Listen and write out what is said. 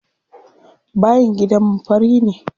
Bayin gidanmu fari ne.